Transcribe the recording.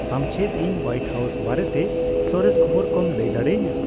ᱟᱢ ᱪᱮᱫ ᱤᱧ ᱦᱳᱭᱟᱤᱴ ᱦᱟᱣᱥ ᱵᱟᱨᱮᱛᱮ ᱥᱚᱨᱮᱥ ᱠᱷᱚᱵᱚᱨ ᱠᱚᱢ ᱞᱟᱹᱭ ᱫᱟᱲᱮᱟᱹᱧᱟᱹ